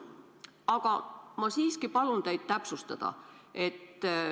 Aga ma siiski palun teid täpsustada.